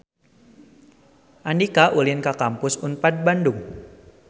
Andika ulin ka Kampus Unpad Bandung